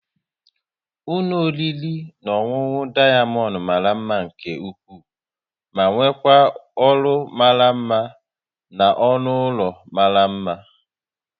Ụlọ oriri na ọṅụṅụ Diamond mara mma nke ukwuu ma nwekwaa ọrụ mara mma na ọnụ ụlọ mara mma